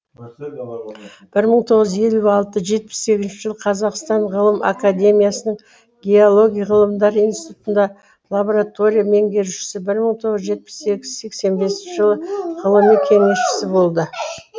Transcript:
бір мың тоғыз жүз елу алты жетпіс сегізінші жылы қазақстан ғылым академиясының геология ғылымдар институтында лаборатория меңгерушісі бір мың тоғыз жүз жетпіс сегіз сексен бесінші жылы ғылыми кеңесші болды